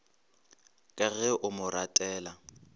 ka ge a mo ratela